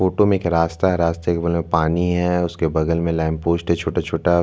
photo में एक रास्ता है रास्ता के बगल में पानी है उसके बगल में लैंपपोस्ट है छोटा-छोटा--